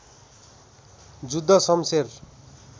Juddha Shamsher